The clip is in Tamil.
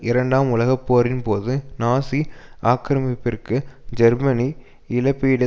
இரண்டாம் உலக போரின்போது நாசி ஆக்கிரமிப்பிற்கு ஜெர்மனி இழப்பீடு